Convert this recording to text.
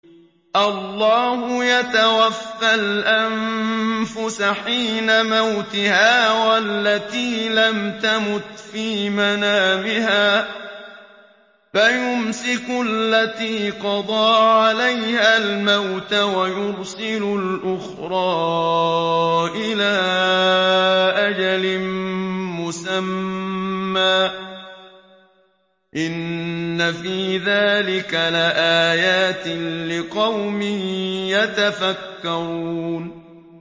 اللَّهُ يَتَوَفَّى الْأَنفُسَ حِينَ مَوْتِهَا وَالَّتِي لَمْ تَمُتْ فِي مَنَامِهَا ۖ فَيُمْسِكُ الَّتِي قَضَىٰ عَلَيْهَا الْمَوْتَ وَيُرْسِلُ الْأُخْرَىٰ إِلَىٰ أَجَلٍ مُّسَمًّى ۚ إِنَّ فِي ذَٰلِكَ لَآيَاتٍ لِّقَوْمٍ يَتَفَكَّرُونَ